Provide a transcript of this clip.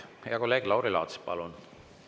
Hea kolleeg Lauri Laats, palun!